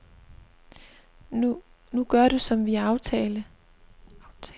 Nu gør du som vi aftale.